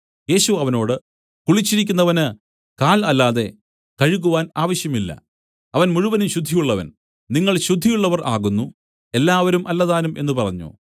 യേശു അവനോട് കുളിച്ചിരിക്കുന്നവന് കാൽ അല്ലാതെ കഴുകുവാൻ ആവശ്യം ഇല്ല അവൻ മുഴുവനും ശുദ്ധിയുള്ളവൻ നിങ്ങൾ ശുദ്ധിയുള്ളവർ ആകുന്നു എല്ലാവരും അല്ലതാനും എന്നു പറഞ്ഞു